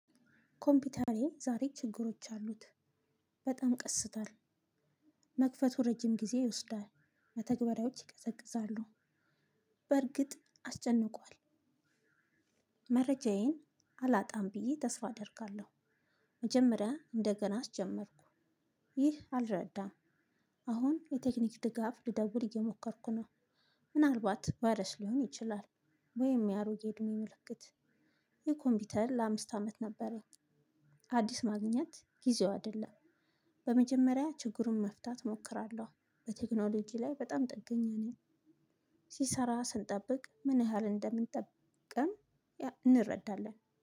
ኮምፒውተሬ ዛሬ ችግሮች አሉት። በጣም ቀስታል። መክፈቱ ረጅም ጊዜ ይወስዳል። መተግበሪያዎች ይቀዘቅዛሉ። በርግጥ አስጨንቋል። መረጃዬን አላጣም ብዬ ተስፋ አደርጋለሁ። መጀመሪያ እንደገና አስጀመርኩ። ይህ አልረዳም። አሁን የቴክኒክ ድጋፍ ልደውል እየሞከርኩ ነው። ምናልባት ቫረስ ሊሆን ይችላል። ወይም የአሮጌ እድሜ ምልክት የኮምፒውተር ለአምስት አመት ነበረኝ። አዲስ ማግኘት ጊዜው አደለም። በመጀመሪያ ችግሩን መፍታት ሞክራለሁ በቴክኖሎጂ ላይ በጣም ጥገኛ ነኝ። ሲሰራ ስንጠብቅ ምን ያህል እንደሚጠብቀን እንረዳለን